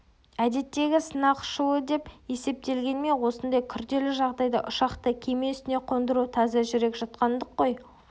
әдеттегі сынақ ұшуы деп есептелгенімен осындай күрделі жағдайда ұшақты кеме үстіне қондыру таза жүрек жұтқандық қой